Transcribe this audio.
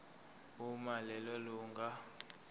uma lelo lunga